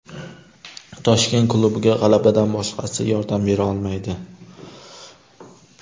Toshkent klubiga g‘alabadan boshqasi yordam bera olmaydi.